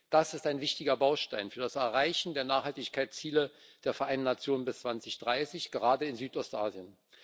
Das ist ein wichtiger Baustein für das Erreichen der Nachhaltigkeitsziele der Vereinten Nationen bis 2030, gerade in Südostasien.